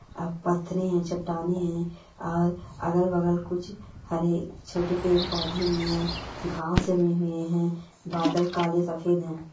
आं पत्थरे हैं चट्टानें हैं और अगल-बगल कुछ हरे छोटे पेड़-पौधे भी हैं घास जमे हुए हैं बादल काले सफेद हैं।